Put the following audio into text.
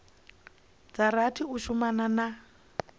dza rathi u shumana na